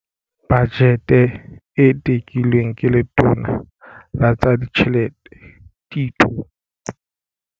Bajete e tekilweng ke Letona la tsa Ditjhelete Tito.